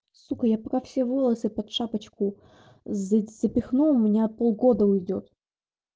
сука я пока все волосы под шапочку за запихну у меня полгода уйдёт